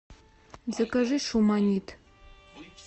закажи шуманит